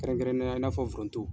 Kɛrɛnkɛrɛnya la i n'a fɔ foronto.